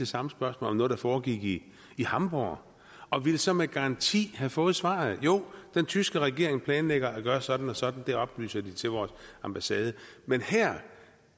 samme spørgsmål om noget der foregik i hamborg og ville så med garanti have fået svaret jo den tyske regering planlægger at gøre sådan og sådan det oplyser de til vores ambassade men her er